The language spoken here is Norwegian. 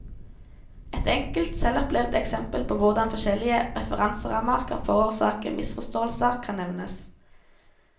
Et enkelt, selvopplevd eksempel på hvordan forskjellige referanserammer kan forårsake misforståelser, kan nevnes.